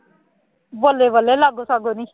ਬੱਲੇ ਬੱਲੇ ਲਾਗੋ ਸਾਗੋ ਨਹੀਂ